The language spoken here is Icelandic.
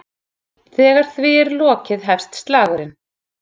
Þegar því er lokið hefst slagurinn.